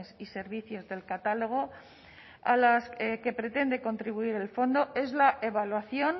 y servicios del catálogo a las que pretende contribuir el fondo es la evaluación